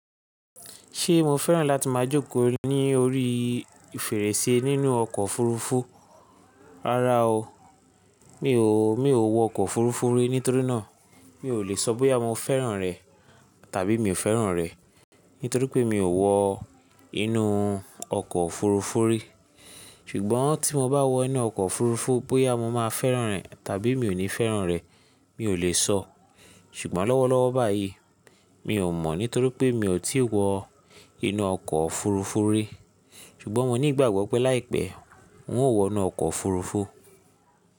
Ṣé mo fẹ́ràn láti máa jókòó ní orí fèrèsé nínú ọkọ̀ òfurufú? Rárá o, mi ò, mi ò wọ ọkọ̀ òfurufú rí nítorí náà mi ò lè sọ bóyá mo fẹ́ràn rẹ̀ tàbí mi ò fẹ́ràn rẹ̀, nítorí pé mi ò wọ inú ọkọ̀ òfurufú rí. Ṣùgbọ́n tí mo bá wọ inú ọkọ̀ òfurufú, bóyá mo máa fẹ́ràn rẹ̀ tàbí mi ò ní fẹ́ràn rẹ̀ mi ò lè sọ. Ṣùgbọ́n lọ́wọ́lọ́wọ́ báyìí mi ò mọ̀ nítorí pé mi ò tíì wọ inú ọkọ̀ òfurufú rí. Ṣùgbọ́n mo ní ìgbàgbọ́ pé láìpẹ́ n ó wọ inú ọkọ̀ òfurufú.